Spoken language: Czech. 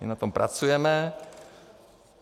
My na tom pracujeme.